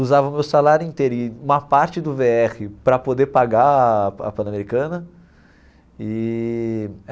Usava o meu salário inteiro e uma parte do Vê Erre para poder pagar a a Panamericana eee.